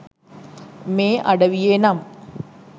මේ අඩවියේ නම්.